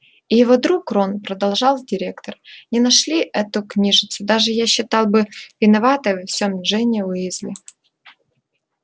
и его друг рон продолжал директор не нашли эту книжицу даже я считал бы виноватой во всём джинни уизли